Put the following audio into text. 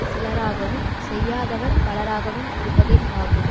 சிலராகவும் செய்யாதவர் பலராகவும் இருப்பதே ஆகும்